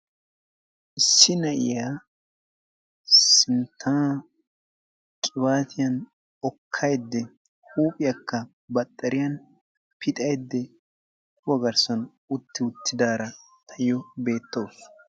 Issi na'iya sinttaa qibaatiyan okkayiidde, huuphiyakka baxxariyan pixaayidde, kuwa garssan utta uttidaara taayyo beettawusu.